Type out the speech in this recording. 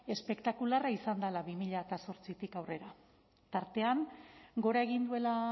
espektakularra izan dela bi mila zortzitik aurrera tartean gora egin duela